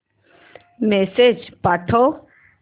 message पाठव